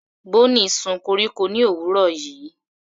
Bonny sun koríko ní òwúrọ̀ yìí.